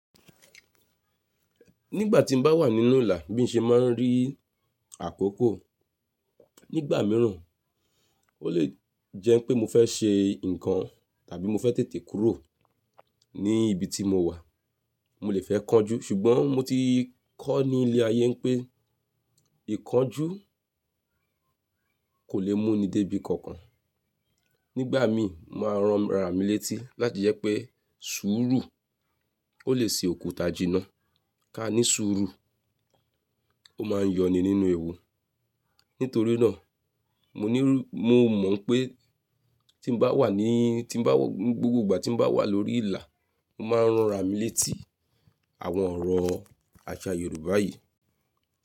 Nígbà tí mo bá wà nínú ìlà bí n ṣe máa ń rí àkókò nígbà mìíràn, ó lè jẹ́ pé mo fẹ́ ṣe nǹkan tàbí mo fẹ́ tètè kúrò ní ibi tí mo wà. Mo lè fẹ́ kánjú ṣùgbọ́n mo ti kọ́ ní ilé ayé pé ìkánjú kò le mú ni dé ibi kankan. Nígbà mí mo máa ń ranra mi létí láti jẹ́ pé sùúrù ó lè ṣe òkúta jìnnà. Ka ní sùúrù ó máa yọ ni nínú ewu. Nítorí náà, mo mọ̀ wípé tí n wà ní, gbogbo ìgbà tí n bá wà lórí ìlà, mo máa ń rán ra mi létí àwọn ọ̀rọ̀ àṣà Yorùbá yìí.